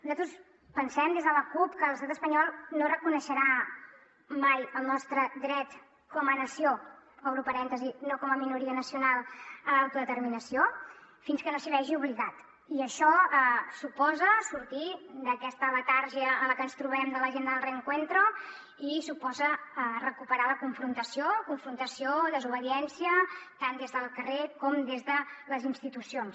nosaltres pensem des de la cup que l’estat espanyol no reconeixerà mai el nostre dret com a nació obro parèntesi no com a minoria nacional a l’autodeterminació fins que no s’hi vegi obligat i això suposa sortir d’aquesta letargia en la que ens trobem de l’agenda del reencuentroció desobediència tant des del carrer com des de les institucions